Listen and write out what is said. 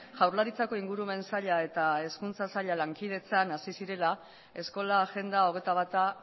jaurlaritzako ingurumen saila eta hezkuntza saila lankidetzan hasi zirela eskola agenda hogeita bata